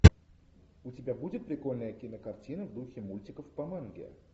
у тебя будет прикольная кинокартина в духе мультиков по манге